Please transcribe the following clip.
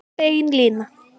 Bein lína